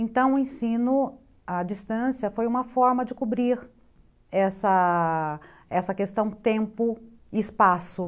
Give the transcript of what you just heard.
Então o ensino à distância foi uma forma de cobrir essa essa questão tempo e espaço.